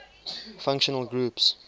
functional groups